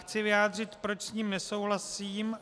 Chci vyjádřit, proč s ním nesouhlasím.